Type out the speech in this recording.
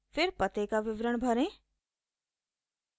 फिर पते का विवरण भरें